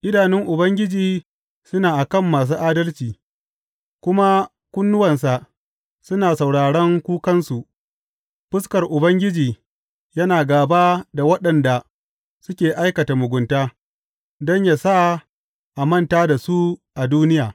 Idanun Ubangiji suna a kan masu adalci kuma kunnuwansa suna sauraran kukansu; fuskar Ubangiji yana gāba da waɗanda suke aikata mugunta, don yă sa a manta da su a duniya.